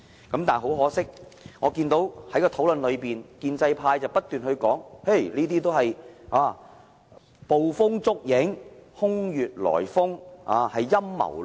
但是，很可惜，我在討論中看到建制派不斷說這些都是捕風捉影、空穴來風，是陰謀論。